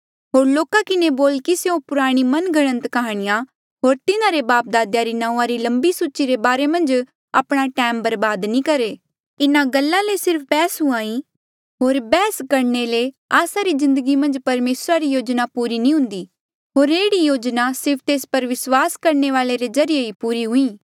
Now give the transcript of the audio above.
होर लोका किन्हें बोल कि स्यों पुराणी मन घड़न्त काह्णियां होर तिन्हारे बापदादेया री नांऊँआ री लम्बी सूची रे बारे री गल्ला पर आपणा टैम बर्बाद नी करहे इन्हा गल्ला ले सिर्फ बैहस हुंहां ईं होर बैहस करणे ले आस्सा री जिन्दगी मन्झ परमेसरा री योजना पूरी नी हुन्दी होर एह्ड़ी योजना सिर्फ तेस पर विस्वासा करणे वाले रे ज्रीए ही पूरी हुईं